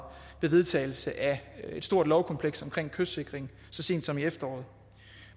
ved vedtagelse af et stort lovkompleks omkring kystsikring så sent som i efteråret